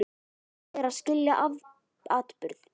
Hvað er að skilja atburð?